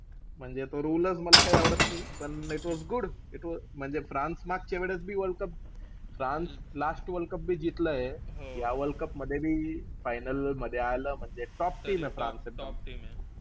म्हणजे तो rule च मला काई आवडत नाई. पण it was good. म्हणजे फ्रान्स मागच्या वेळेस बी world cup, France last world cup बी जिकलाय. या वर्ल्ड कपमध्ये बी final मध्ये आलं म्हणजे top team आहे फ्रान्स.